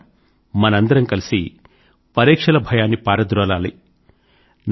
మిత్రులారా మనందరం కలిసి పరీక్షల భయాన్ని పారద్రోలాలి